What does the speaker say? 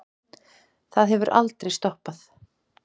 Það hefur aldrei stoppað